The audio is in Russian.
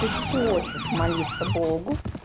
ты хочешь молиться богу